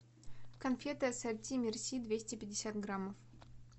конфеты ассорти мерси двести пятьдесят граммов